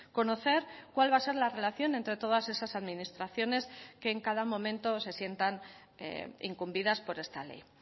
conocer cuál va a ser la relación entre todas esas administraciones que en cada momento se sientan incumbidas por esta ley